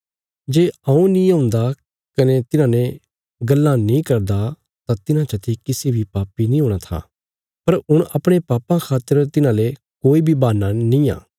जे हऊँ नीं औन्दा कने तिन्हांने गल्लां नीं करदा तां तिन्हां चते किसी बी पापी नीं हूणा था पर हुण अपणे पापां खातर तिन्हाले कोई बी बहान्ना निआं